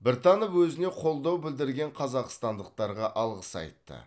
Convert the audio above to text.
біртанов өзіне қолдау білдірген қазақстандықтарға алғыс айтты